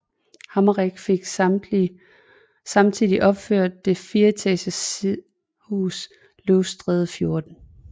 Hammerich fik samtidig opført det fireetages sidehus Løvstræde 14